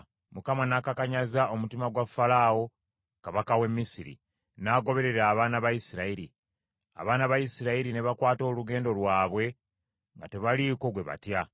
Mukama n’akakanyaza omutima gwa Falaawo Kabaka w’e Misiri, n’agoberera abaana ba Isirayiri. Abaana ba Isirayiri ne bakwata olugendo lwabwe nga tebaliiko gwe batya.